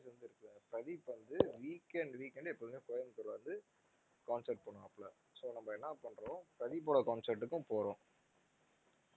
வந்து இருக்குல்ல பிரதீப் வந்து weekend weekend எப்போதுமே Coimbatore ல வந்து concert பண்ணுவாப்ள so நம்ம என்ன பண்றோம் பிரதீப்போட concert க்கும் போறோம்